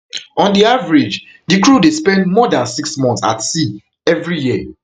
on di average di crew dey spend more dan six months at sea evri year